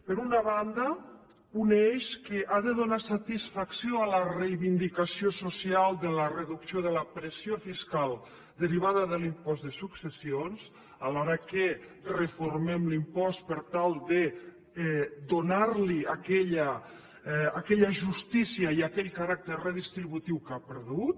per una banda un eix que ha de donar satisfacció a la reivindicació social de la reducció de la pressió fiscal derivada de l’impost de successions alhora que reformem l’impost per tal de donarli aquella justícia i aquell caràcter redistributiu que ha perdut